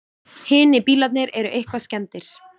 Hinir bílarnir eru eitthvað skemmdir